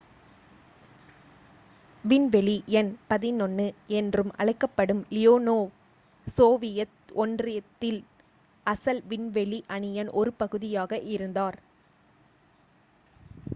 """விண்வெளி எண் 11" என்றும் அழைக்கப்படும் லியோனோவ் சோவியத் ஒன்றியத்தின் அசல் விண்வெளி அணியின் ஒரு பகுதியாக இருந்தார்.